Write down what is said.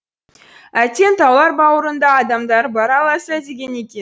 әттең таулар бауырында адамдар бар аласа деген екен